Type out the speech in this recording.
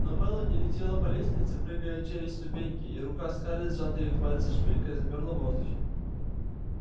но мелани летела по лестнице прыгая через ступеньки и рука скарлетт с зажатой в пальцах шпилькой замерла в воздухе